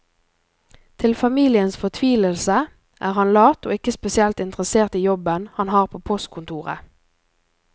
Til familiens fortvilelse er han lat og ikke spesielt interessert i jobben han har på postkontoret.